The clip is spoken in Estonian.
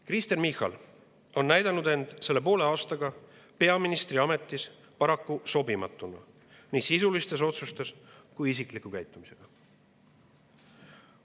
Kristen Michal on näidanud end poole aastaga peaministriametis paraku sobimatuna, nii sisuliste otsuste kui isikliku käitumisega.